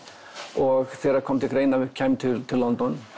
og þegar kom til greina að við kæmum til til London